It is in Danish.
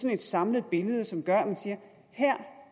et samlet billede som gør at man siger